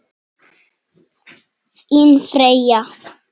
Þín Freyja.